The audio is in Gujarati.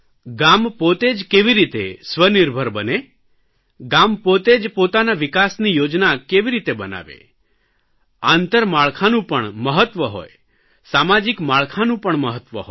ગામ પોતે જ કેવી રીતે સ્વનિર્ભર બને ગામ પોતે જ પોતાના વિકાસની યોજના કેવી રીતે બનાવે આંતરમાળખાનું પણ મહત્વ હોય સામાજિક માળખાનું પણ મહત્વ હોય